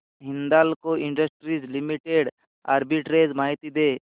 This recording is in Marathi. हिंदाल्को इंडस्ट्रीज लिमिटेड आर्बिट्रेज माहिती दे